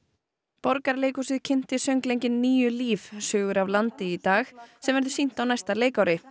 Borgarleikhúsið kynnti söngleikinn níu Líf sögur af landi í dag sem verður sýnt á næsta leikári